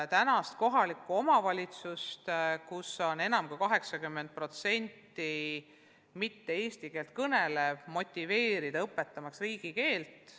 Tänastes kohalikes omavalitsustes, kus on enam kui 80% mitte eesti keelt kõnelevat elanikkonda, püüame motiveerida õpetama riigikeelt.